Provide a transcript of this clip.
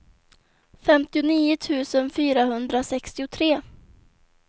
femtionio tusen fyrahundrasextiotre